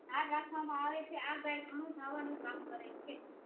ધાર રાખવામાં આવેછે આ ગાય ઘણું ધાવા નું કામ કરે છે